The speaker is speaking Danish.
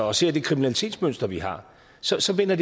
og ser det kriminalitetsmønster vi har så så kan man